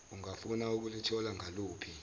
ungafuna ukulithola ngaluphi